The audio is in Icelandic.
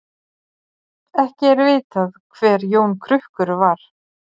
Ekki er vitað hver Jón krukkur var.